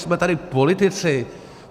Jsme tady politici.